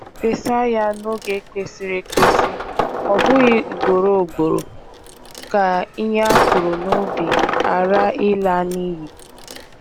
Fesa ya n'oge kwesịrị ekwesị, ọbụghị ugboro ugboro, ka ihe a kụrụ n'ubi hara ịla n'iyi.